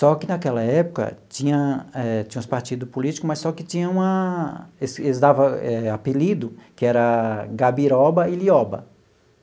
Só que naquela época tinha eh... tinha uns partidos políticos, mas só que tinha uma... eles eles dava eh apelido, que era Gabiroba e Lioba.